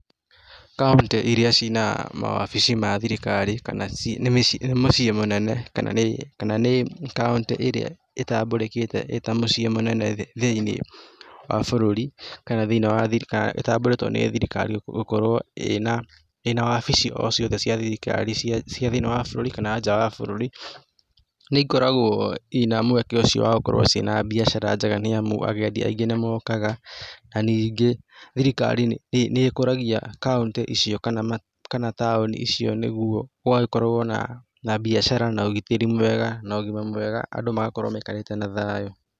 Kauntĩ iria ciĩ na mawabici ma thirikari kana mũciĩ mũnene kana nĩ kauntĩ ĩrĩa ĩtambũrĩkĩte thĩinĩ wa bũrũri kana nĩ thirikari nĩ gũkorwo ĩna wabici o ciothe cia thĩinĩ wa thirikari kana nja ya bũrũri nĩikoragwo i na mweke ũcio wa gũkorwo i na mbiacara njega nĩ amu agendi aingĩ nĩmokaga na ningĩ thirikari nĩ ĩkũragia kauntĩ icio kana taoni icio nĩguo gũgagĩkorwo na mbiacara, na ũgitĩri mwega andũ magakorwo maikarĩte na thayũ.